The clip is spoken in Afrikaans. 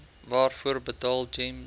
waarvoor betaal gems